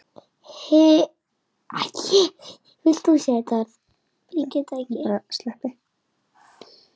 HINSTA KVEÐJA Elsku Simmi.